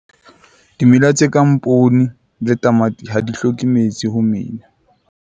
Dimela tse kang poone le tamati ha di hloke metsi ho mela.